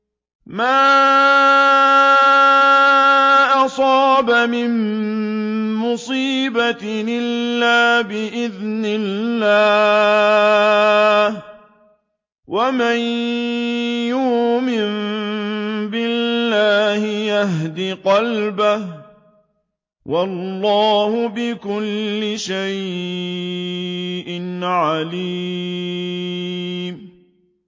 مَا أَصَابَ مِن مُّصِيبَةٍ إِلَّا بِإِذْنِ اللَّهِ ۗ وَمَن يُؤْمِن بِاللَّهِ يَهْدِ قَلْبَهُ ۚ وَاللَّهُ بِكُلِّ شَيْءٍ عَلِيمٌ